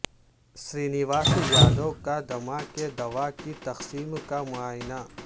سرینواس یادو کا دمہ کی دوا کی تقسیم کا معائنہ